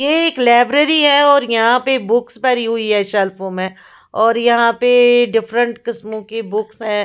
यह एक लाइब्रेरी है और यहाँ पर बुक्स भरी हुई है शेल्पों पर और यहाँ पर डिफरेंट किस्मो की बुक्स है।